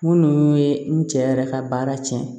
Minnu ye n cɛ yɛrɛ ka baara cɛn